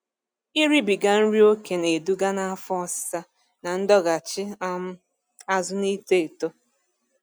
Ịribiga nri okè na-eduga n'afọ ọsịsa na ndọghachị um azụ n'ito eto